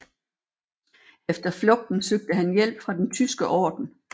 Efter flugten søgte han hjælp fra Den Tyske Orden